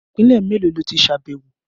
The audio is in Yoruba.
Ìpínlè mélòó lo tí ṣàbẹ̀wọ̀?